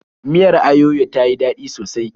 Miyar ayoyo ta yi daɗi sosai.